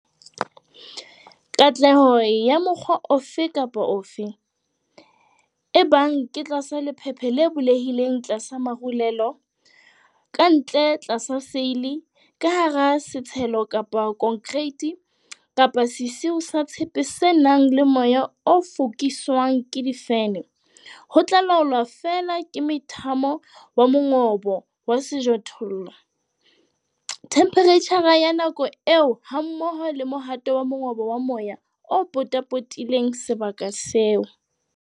Katleho ya mokgwa ofe kapa ofe, ebang ke tlasa lephephe le bulehileng tlasa marulelo, ka ntle tlasa seile, ka hara setshelo kapa konkereiti kapa sesiu sa tshepe se nang le moya o fokiswang ke di-fene, ho tla laolwa feela ke mothamo wa mongobo wa sejothollo, themphereitjhara ya nako eo hammoho le mohato wa mongobo wa moya o potapotileng sebaka seo.